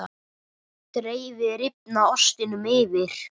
Dreifið rifna ostinum yfir.